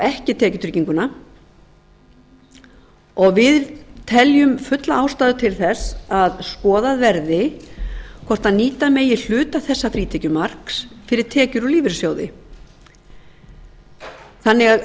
ekki tekjutryggingu við teljum fulla ástæðu til þess skoðað verði hvort nýta megi hluta þessa frítekjumarks fyrir tekjur úr lífeyrissjóði þannig